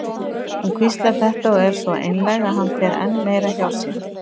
Hún hvíslar þetta og er svo einlæg að hann fer enn meira hjá sér.